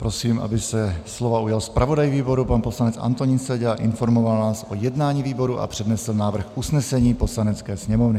Prosím, aby se slova ujal zpravodaj výboru pan poslanec Antonín Seďa a informoval nás o jednání výboru a přednesl návrh usnesení Poslanecké sněmovny.